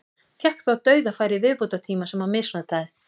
Fékk þó dauðafæri í viðbótartíma sem hann misnotaði.